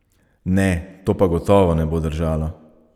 Ne, to pa gotovo ne bo držalo!